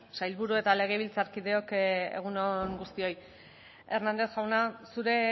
sailburu eta legebiltzarkideok egun on guztioi hernández jauna zure